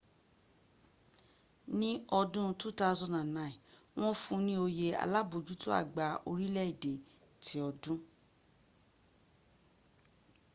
ní ọdún 2009 wọ́n fún ní oyè alábójútó àgbà orílẹ̀ èdè ti ọdún